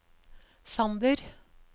Sander